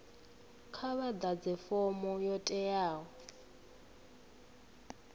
kha vhaḓadze fomo yo teaho